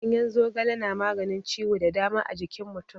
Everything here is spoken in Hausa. Ganyen zogale na maganin ciwo da dama a jikin mutum.